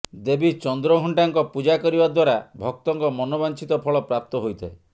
ଦେବୀ ଚନ୍ଦ୍ରଘଣ୍ଟାଙ୍କ ପୂଜା କରିବା ଦ୍ବାରା ଭକ୍ତଙ୍କ ମନବାଞ୍ଛିତ ଫଳ ପ୍ରାପ୍ତ ହୋଇଥାଏ